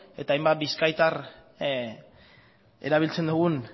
eta hain bat bizkaitar erabiltzen dugun